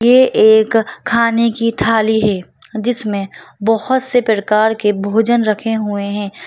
ये एक खाने की थाली है जिसमें बहोत से प्रकार के भोजन रखे हुए हैं।